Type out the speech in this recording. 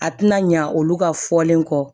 A tɛna ɲa olu ka fɔlen kɔ